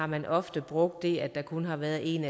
man ofte har brugt det at der kun har været en